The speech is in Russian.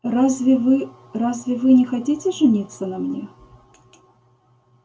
разве вы разве вы не хотите жениться на мне